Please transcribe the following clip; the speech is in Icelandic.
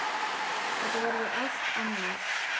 Þetta verður allt annað.